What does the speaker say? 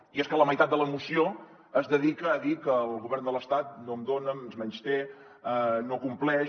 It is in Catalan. i és que la meitat de la moció es dedica a dir que el govern de l’estat no em dona ens menysté no compleix